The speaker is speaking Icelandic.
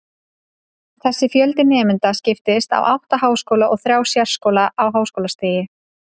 Þessi fjöldi nemenda skiptist á átta háskóla og þrjá sérskóla á háskólastigi.